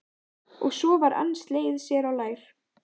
Og svo var enn slegið sér á lær.